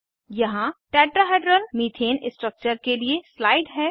यहाँ tetrahedral methane structure के लिए स्लाइड है